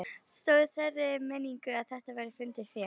Stóð í þeirri meiningu að þetta væri fundið fé.